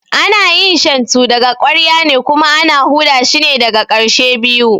Ana yin Shantu daga ƙwarya ne kuma ana huda shine daga ƙarshe biyu